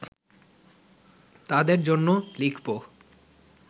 তাদের জন্যে লিখব